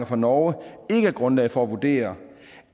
fra norge ikke er grundlag for at vurdere